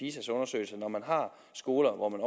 når man har skoler hvor man